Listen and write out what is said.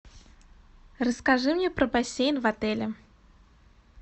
расскажи мне про бассейн в отеле